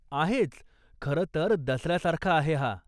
आहेच, खरं तर, दसऱ्यासारखा आहे हा.